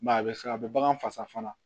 a bɛ se a bɛ bagan fasa fana